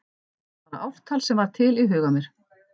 Bara ártal sem varð til í huga mér.